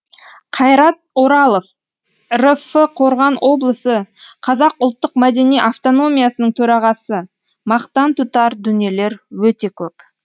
қайрат оралов рф қорған облысы қазақ ұлттық мәдени автономиясының төрағасы мақтан тұтар дүниелер өте көп